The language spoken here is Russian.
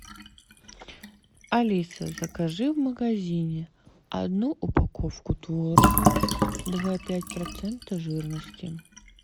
алиса закажи в магазине одну упаковку творога два пять процента жирности